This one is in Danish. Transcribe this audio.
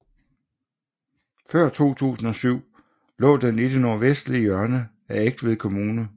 Før 2007 lå den i det nordvestlige hjørne af Egtved Kommune